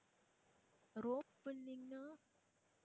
rope pulling ன்னா?